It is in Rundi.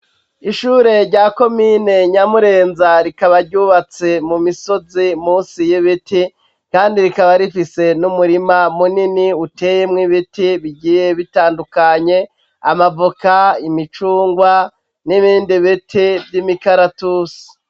Ishure rya komine Nyamurenza, rikaba ryubatse mu misozi musi y'ibiti, kandi rikaba rifise n'umurima munini uteyemwo ibiti bigiye bitandukanye: amavoka, imicungwe n'ibindi biti vy'imikaratusi.